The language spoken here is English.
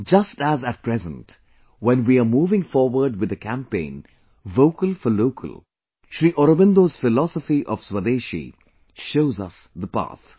Just as at present when we are moving forward with the campaign 'Vocal for Local', Sri Aurobindo's philosophy of Swadeshi shows us the path